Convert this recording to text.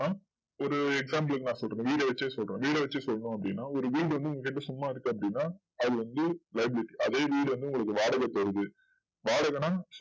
ஒரு example க்கு நா சொல்றேன் வீடு வச்சே சொல்றேன் வீடு வச்சு சொல்னும் அப்டின்னா ஒரு வீடு வந்து இங்க சும்மா இருக்கு அப்டின்னா அதுஎப்டி rent க்கு அதே வீடு உங்களுக்கு எப்டி வாடகைக்கு வருது வாடகைனா